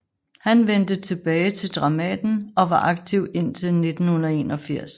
Han vendte tilbage til Dramaten og var aktiv indtil 1981